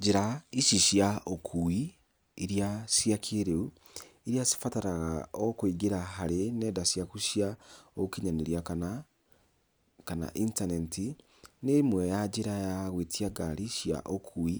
Njĩra ici cia ũkui, iria cia kĩrĩu, iria cibataraga o kũingĩra harĩ nenda ciaku cia ũkinyanĩria kana kana intaneti, nĩ ĩmwe ya njĩra ya gwĩtia ngari cia ũkui